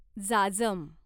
जाजम